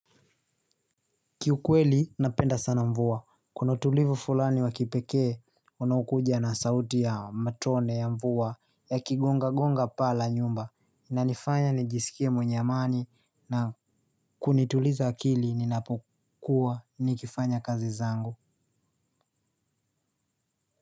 Kiukweli, napenda sana mvua. Kuna utulivu fulani wa kipekee unaokuja na sauti ya matone ya mvua yakigongagonga paa la nyumba ina nifanya nijisikie mwenyeamani na kunituliza akili ninapokua nikifanya kazi zangu.